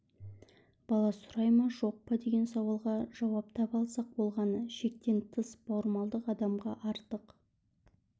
бала сұрай ма жоқ па деген сауалға жауап таба алсақ болғаны шектен тыс бауырмалдық адамға артық